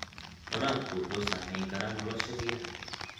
Waraabka wuxuu saameyn karaa nolosha biyaha.